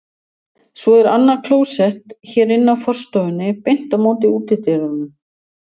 Svo er annað klósett hér inn af forstofunni, beint á móti útidyrunum.